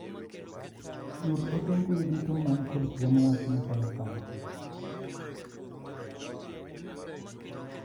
Yud ote mbui duto man kod thuiomn wach machalo kama.